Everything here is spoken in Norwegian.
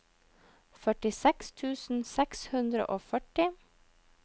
førtiseks tusen seks hundre og førti